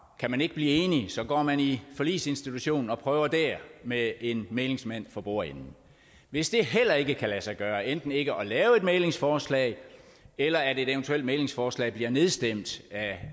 kan man ikke blive enige går man i forligsinstitutionen og prøver der med en mæglingsmand for bordenden hvis det heller ikke kan lade sig gøre enten ikke at lave et mæglingsforslag eller at et eventuelt mæglingsforslag bliver nedstemt af